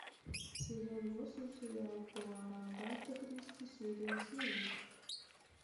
сезон восемь сериал пуаро агаты кристи серия семь